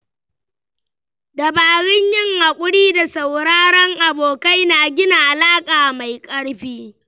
Dabarun yin haƙuri da sauraron abokai na gina alaƙa mai ƙarfi.